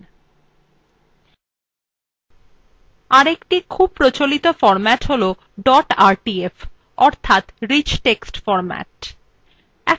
আরেকটি খুব প্রচলিত ফরম্যাট হল dot rtf অর্থাৎ rich text format